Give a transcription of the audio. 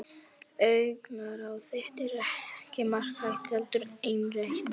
Augnaráð þitt er ekki margrætt heldur einrætt.